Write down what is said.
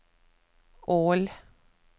Ål